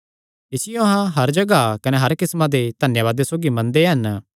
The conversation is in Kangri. इसियो अहां हर जगाह कने हर किस्मां दे धन्यावादे सौगी मनदे हन